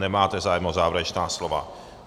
Nemáte zájem o závěrečná slova.